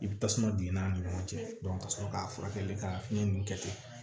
I bi tasuma don i n'a ni ɲɔgɔn cɛ ka sɔrɔ k'a furakɛli ka fiɲɛ nu kɛ ten